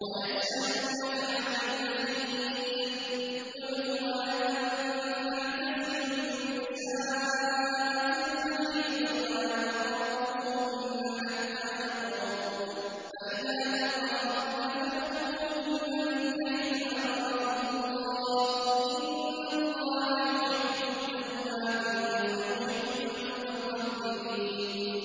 وَيَسْأَلُونَكَ عَنِ الْمَحِيضِ ۖ قُلْ هُوَ أَذًى فَاعْتَزِلُوا النِّسَاءَ فِي الْمَحِيضِ ۖ وَلَا تَقْرَبُوهُنَّ حَتَّىٰ يَطْهُرْنَ ۖ فَإِذَا تَطَهَّرْنَ فَأْتُوهُنَّ مِنْ حَيْثُ أَمَرَكُمُ اللَّهُ ۚ إِنَّ اللَّهَ يُحِبُّ التَّوَّابِينَ وَيُحِبُّ الْمُتَطَهِّرِينَ